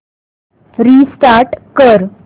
restart कर